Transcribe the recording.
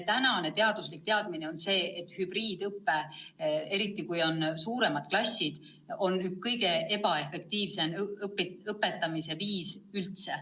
Senine teaduslik seisukoht on olnud see, et hübriidõpe, eriti kui on suuremad klassid, on kõige ebaefektiivsem õpetamise viis üldse.